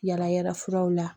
Yaala yaala furaw la